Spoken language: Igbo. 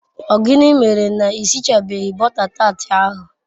O gini mere n'isichabeghi bota tat ahu